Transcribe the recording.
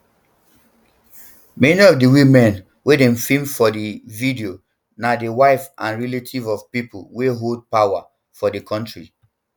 many of di women wey dem feem for di video na di wives and relatives of pipo wey hold power um for di kontri